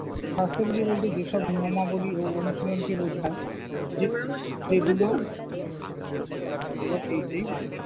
স্বাস্থ্যবিধি বলতে যেসব নিয়মাবলী ও অনুশীলনকে বোঝায় সেগুলো